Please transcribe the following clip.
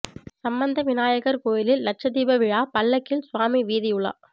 சம்பந்த விநாயகர் கோயிலில் லட்சதீப விழா பல்லக்கில் சுவாமி வீதி உலா